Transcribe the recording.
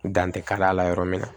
Dan tɛ ka la yɔrɔ min na